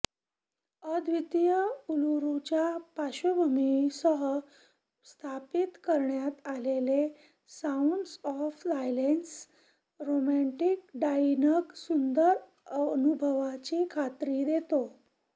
अद्वितीय उलुरूच्या पार्श्वभूमीसह स्थापित करण्यात आलेले sounds of silence romantic dining सुंदर अनुभवाची खात्री देतो